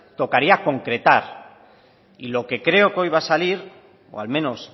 tocaría concretar y lo que creo que hoy va a salir o al menos